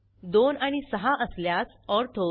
2 आणि 6 असल्यास ऑर्थो